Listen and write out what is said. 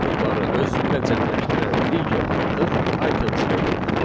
Bu metodları özündə cəmləşdirən digər metod items metodudur.